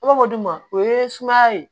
I b'a fɔ du ma o ye sumaya ye